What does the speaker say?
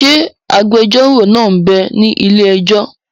Ṣé agbẹjọ́rò náà m bẹ ní ilé-ẹjọ́?